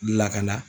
Lakana